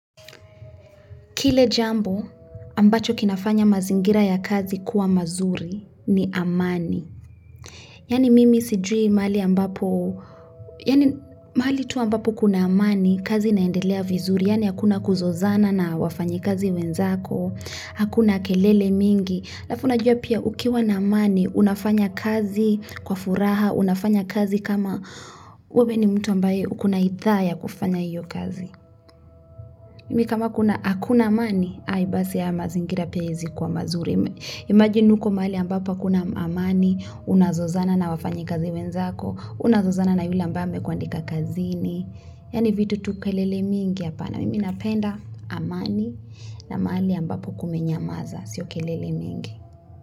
Kile jambo ambacho kinafanya mazingira ya kazi kuwa mazuri ni amani. Yaani mimi sijui mahali ambapo, yaani mahali tu ambapo kuna amani, kazi naendelea vizuri, yani hakuna kuzozana na wafanyi kazi wenzako, hakuna kelele mingi. Alafu jua pia ukiwa na amani, unafanya kazi kwa furaha, unafanya kazi kama ube ni mtu ambaye ukuna ithaa ya kufanya iyo kazi. Mimi kama hakuna amani, ai basi ya mazingira pezi kwa mazuri. Imagine uko mahali ambapo kuna amani, unazozana na wafanyi kazi wenzako, unazozana na yule ambame kwa andika kazini. Yaani vitu tukelele mingi ya pana. Mimi napenda amani na mahali ambapo kumenyamaza, sio kelele mingi.